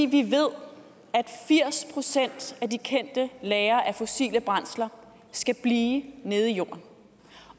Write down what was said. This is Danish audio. vi ved at firs procent af de kendte lagre af fossile brændsler skal blive nede i jorden